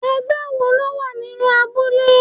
Ẹgbẹ́ wo lo wà nínú abúlé?